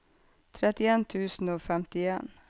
trettien tusen og femtien